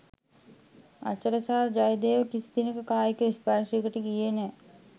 අචලා සහ ජයදේව කිසි දිනක කායික ස්පර්ෂයකට ගියේ නැහැ